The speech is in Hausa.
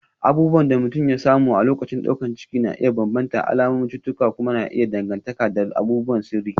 abubuwan da mutum ya samu a lokacin daukar ciki na iya bambanta, alamun cututtuka kuma na iya danganta da abubuwan sirri